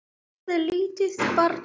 Nema, pabbi, sagði lítið barn.